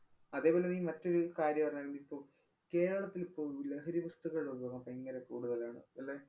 അതേപോലെ നീ മറ്റൊരു കാര്യം അറിഞ്ഞാരുന്നോ ഇപ്പോ. കേരളത്തിലിപ്പോ ലഹരി വസ്തുക്കളുടെ ഉപയോഗം ഭയങ്കര കൂടുതലാണ്. അല്ലേ?